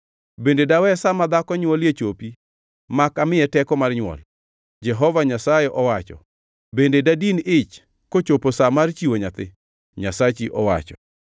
Bende dawe sa ma dhako nywolie chopi mak amiye teko mar nywol?” Jehova Nyasaye owacho. “Bende dadin ich kochopo sa mar chiwo nyathi?” Nyasachi owacho.